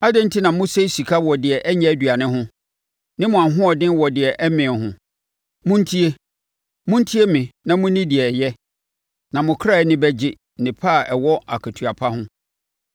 Adɛn enti na mosɛe sika wɔ deɛ ɛnyɛ aduane ho ne mo ahoɔden wɔ deɛ ɛmmee ho? Montie, montie me na monni deɛ ɛyɛ, na mo kra ani bɛgye nnepa a ɛwɔ akatua pa ho.